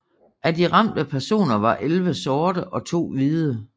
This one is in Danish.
Af de ramte personer var elleve sorte og to hvide